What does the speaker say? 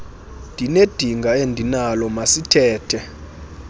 ndinedinga endinalo masithethe